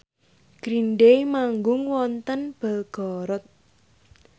Green Day manggung wonten Belgorod